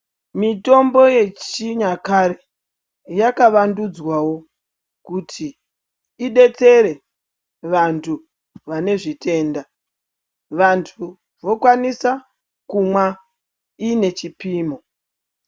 Mitombo yechinyakare yakavandudzwawo kuti idetsere vantu vanezviyenda , vantu vokwanisa kumwa ine chipimo.